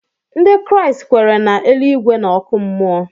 Ndị Kraịst kweere na eluigwe na oku mmuo